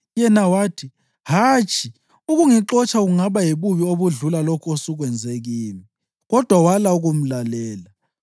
Yena wathi, “Hatshi! Ukungixotsha kungaba yibubi obudlula lokhu osukwenze kimi.” Kodwa wala ukumlalela.